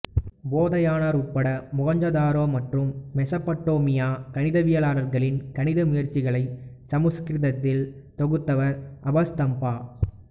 போதயானர் உட்பட மொகஞ்சதாரோ மற்றும் மெசப்படோமியா கணிதவியலாளர்களின் கணித முயற்சிகளை சமஸ்கிருதத்தில் தொகுத்தவர் ஆபஸ்தாம்பா